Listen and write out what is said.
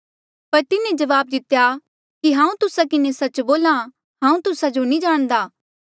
पर तिन्हें जवाब दितेया कि हांऊँ तुस्सा किन्हें सच्च बोल्हा हांऊँ तुस्सा जो नी जाणदा